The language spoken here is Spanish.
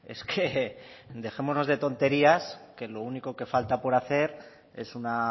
es que dejémonos de tonterías que lo único que falta por hacer es una